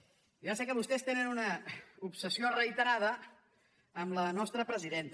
jo ja sé que vostès tenen una obsessió reiterada amb la nostra presidenta